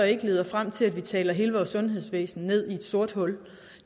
ikke leder frem til at vi taler hele vores sundhedsvæsen ned i et sort hul